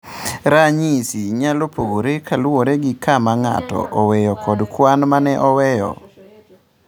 Ranyisigo nyalo pogore kaluwore gi kama ng'ato oweyo kod kwan ma ne oweyo.